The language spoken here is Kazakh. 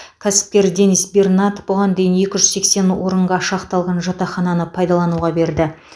кәсіпкер денис бернат бұған дейін екі жүз сексен орынға шақталған жатақхананы пайдалануға берді